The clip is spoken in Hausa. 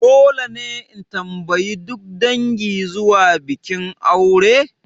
Dole ne in tambayi duk dangi zuwa bikin aure?